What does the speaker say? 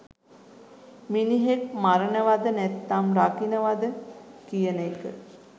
මිනිහෙක් මරනවද නැතිනම් රකිනවදකියන එක